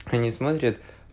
они смотрят